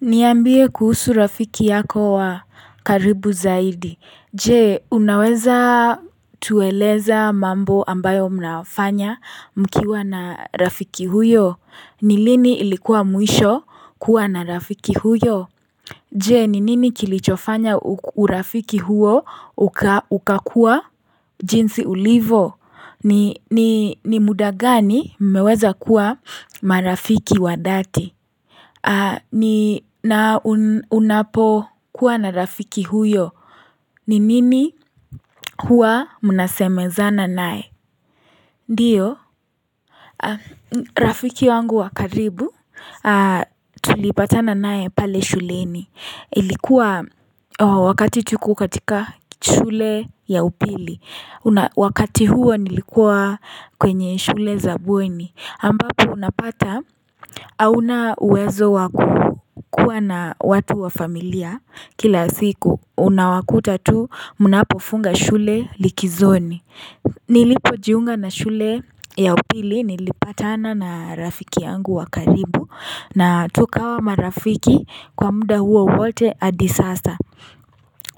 Niambie kuhusu rafiki yako wa karibu zaidi, je unaweza tueleza mambo ambayo mnafanya mkiwa na rafiki huyo, ni lini ilikuwa mwisho kuwa na rafiki huyo? Je, ni nini kilichofanya urafiki huyo ukakua jinsi ulivo, ni muda gani meweza kuwa marafiki wa dhati? Na unapo kuwa na rafiki huyo ni nini huwa mnaseme zana naye? Ndio, rafiki wangu wakaribu tulipata nae pale shuleni Ilikuwa wakati tuko katika shule ya upili Wakati huo nilikuwa kwenye shule za bueni ambapo unapata hauna uwezo wakukua na watu wa familia kila siku unawakuta tu mnapofunga shule likizoni Nilipojiunga na shule ya upili nilipatana na rafiki yangu wa karibu na tukawa marafiki kwa muda huo wote adi sasa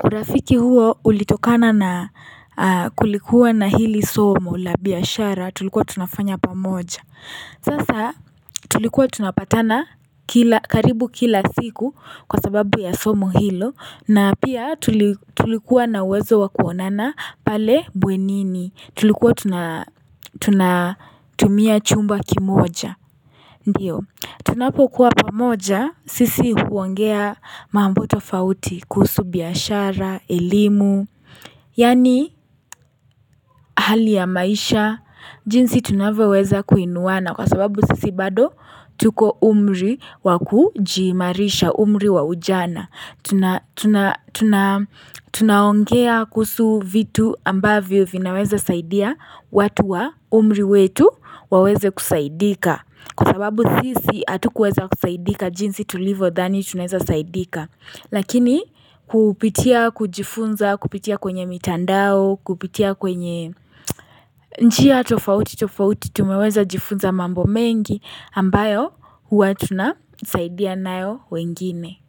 urafiki huo ulitokana na kulikuwa na hili somo la biashara tulikuwa tunafanya pamoja Sasa tulikuwa tunapatana karibu kila siku kwasababu ya somo hilo na pia tulikuwa na wezo wakuonana pale buenini tulikuwa tunatumia chumba kimoja Ndio, tunapo kuwa pamoja sisi huongea mambo tofauti, kuhusu biashara, elimu, yaani hali ya maisha, jinsi tunavyoweza kuinuana kwasababu sisi bado tuko umri wa kujiimarisha umri wa ujana. Tuna ongea kuhusu vitu ambavyo vinaweza saidia watu wa umri wetu waweze kusaidika Kwasababu sisi hatukuweza kusaidika jinsi tulivo dhani tunaweza saidika Lakini kupitia kujifunza kupitia kwenye mitandao kupitia kwenye njia tofauti tofauti Tumeweza jifunza mambo mengi ambayo hua tunasaidia nayo wengine.